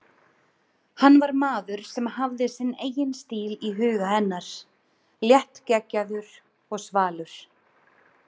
Hann var maður sem hafði sinn eigin stíl í huga hennar, léttgeggjaður og svalur.